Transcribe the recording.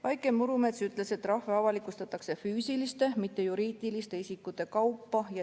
Vaike Murumets ütles, et trahve avalikustatakse füüsiliste, mitte juriidiliste isikute kaupa.